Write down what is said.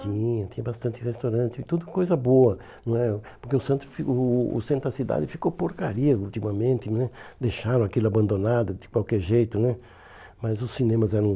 Tinha, tinha bastante restaurante, tudo coisa boa não é, porque o centro o o o centro da cidade ficou porcaria ultimamente né, deixaram aquilo abandonado de qualquer jeito né, mas os cinemas eram...